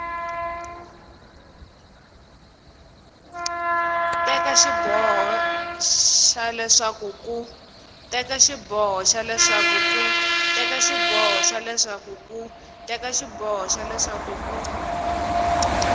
teka xiboho xa leswaku ku